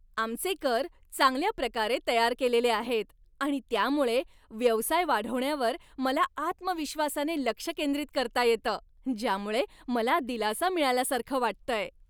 आमचे कर चांगल्या प्रकारे तयार केलेले आहेत आणि त्यामुळे व्यवसाय वाढवण्यावर मला आत्मविश्वासाने लक्ष केंद्रित करता येतं, ज्यामुळे मला दिलासा मिळाल्यासारखं वाटतंय.